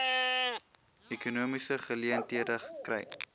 ekonomiese geleenthede kry